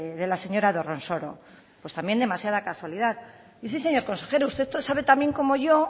de la señora dorronsoro pues también demasiada casualidad y sí señor consejero usted sabe tan bien como yo